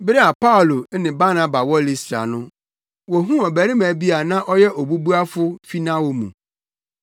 Bere a Paulo ne Barnaba wɔ Listra no wohuu ɔbarima bi a na ɔyɛ obubuafo fi nʼawo mu.